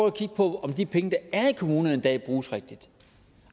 at kigge på om de penge der er i kommunerne i dag bruges rigtigt